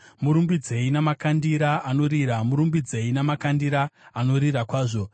Murumbidzei namakandira anorira, murumbidzei namakandira anorira kwazvo.